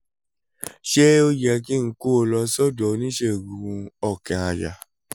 ṣé ó yẹ kí n kó un lọ sọ́dọ̀ oníṣègùn-ún-ọkàn-àyà?